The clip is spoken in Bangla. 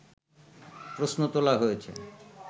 প্রশ্ন তোলা হয়েছে